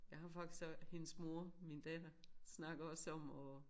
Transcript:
Jeg har faktisk også hendes mor min datter snakker også om at